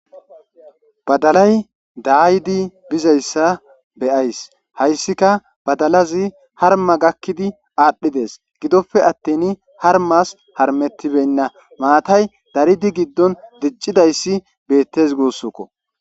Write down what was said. Badalay daayidi bizayssa be7ays. Hayssika badalazi harmma gakkidi aadhides gidoppe attiini harmmas harmmettibenna Maatay daridi giddon diccizayssi beettes guussuko.